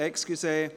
Entschuldigung